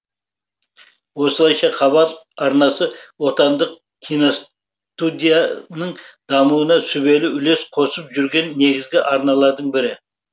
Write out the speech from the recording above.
осылайша хабар арнасы отандық киностудияның дамуына сүбелі үлес қосып жүрген негізгі арналардың бірі